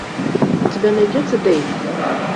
у тебя найдется дэйв